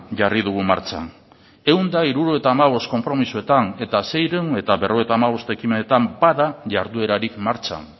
jarri dugu martxan ehun eta hirurogeita hamabost konpromisoetan eta seiehun eta berrogeita hamabost ekimenetan bada jarduerarik martxan